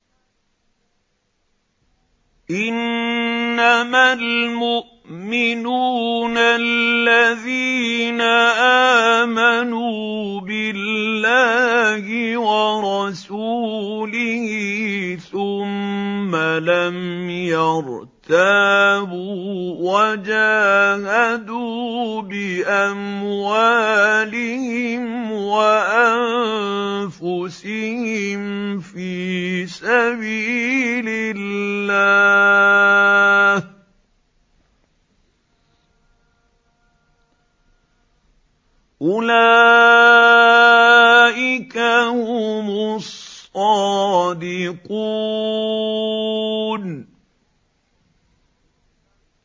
إِنَّمَا الْمُؤْمِنُونَ الَّذِينَ آمَنُوا بِاللَّهِ وَرَسُولِهِ ثُمَّ لَمْ يَرْتَابُوا وَجَاهَدُوا بِأَمْوَالِهِمْ وَأَنفُسِهِمْ فِي سَبِيلِ اللَّهِ ۚ أُولَٰئِكَ هُمُ الصَّادِقُونَ